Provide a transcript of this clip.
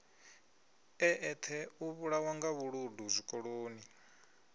eṱhe u vhulawanga vhuludu zwikoloni